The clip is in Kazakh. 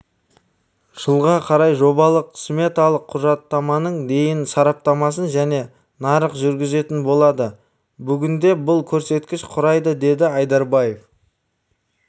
жылға қарай жобалық-сметалық құжаттаманың дейін сараптамасын жеке нарық жүргізетін болады бүгінде бұл көрсеткіш құрайды деді айдарбаев